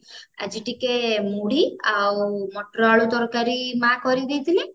ଆଜି ଟିକେ ମୁଢି ମଟର ଆଳୁ ତରକାରୀ ମା କରିକି ଦେଇଥିଲେ